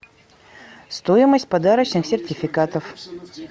стоимость подарочных сертификатов